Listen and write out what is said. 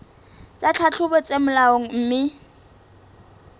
tsa tlhahlobo tse molaong mme